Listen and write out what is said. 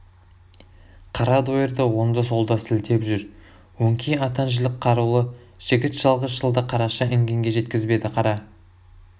қара дойырды оңды-солды сілтеп жүр өңкей атан жілік қарулы жігіт жалғыз шалды қараша інгенге жеткізбеді қара